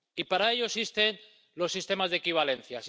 Y para ello existen los sistemas de equivalencia.